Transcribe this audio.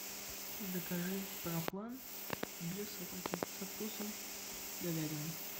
закажи проплан для собаки со вкусом говядины